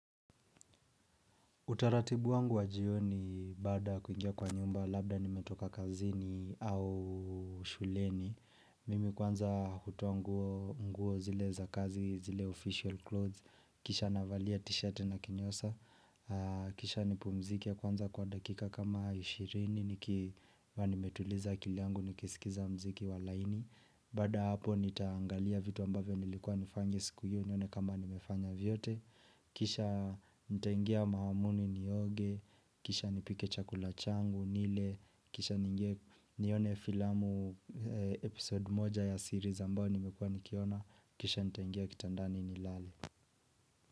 Utaratibu wangu wa jioni baada ya kuingia kwa nyumba labda nimetoka kazini au shuleni. Mimi kwanza hutoa nguo zile za kazi, zile official clothes. Kisha navalia t-shirt na kinyasa. Kisha nipumzike kwanza kwa dakika kama 20 nikiwa nimetuliza akila yangu nikisikiza mziki wa laini. Baada ya hapo nitaangalia vitu ambavyo nilikuwa nifanye siku hiyo nione kama nimefanya vyote. Kisha nitaingia mahamuni nioge Kisha nipike chakula changu nile Kisha nione filamu episode moja ya series ambao nimekuwa nikiona Kisha nitaingia kitandani nilale.